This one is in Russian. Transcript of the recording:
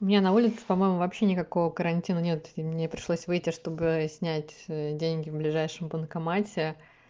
у меня на улице по-моему вообще никакого карантина нет мне пришлось выйти чтобы снять деньги в ближайшем банкомате